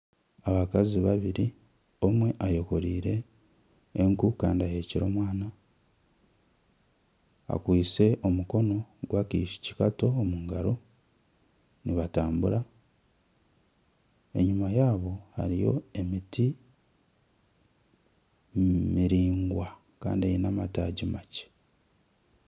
Abakazi babiri omwe ayakoreire enku kandi aheekire omwana akwaitse omukono g'akaishiki kato omu ngaro, nibatambura. Enyima yaabo hariyo emiti. Enyima yaabo hariyo emiti miraingwa kandi eine amataagi makye.